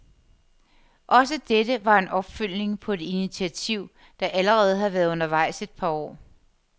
Også dette var en opfølgning på et initiativ, der allerede har været undervejs et par år.